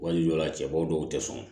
Wali jɔ la cɛbaw dɔw tɛ sɔn